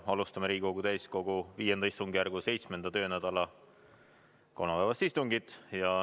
Alustame Riigikogu täiskogu V istungjärgu 7. töönädala kolmapäevast istungit.